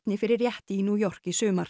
fyrir rétti í New York í sumar